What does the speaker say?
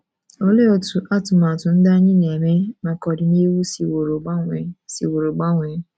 Olee otú atụmatụ ndị anyị na - eme maka ọdịnihu siworo gbanwee siworo gbanwee?